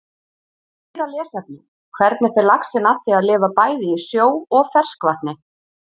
Meira lesefni: Hvernig fer laxinn að því að lifa bæði í sjó og ferskvatni?